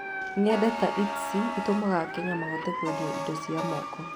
Ng’enda ta Etsy itũmaga AKenya mahote kwendia indo cia moko.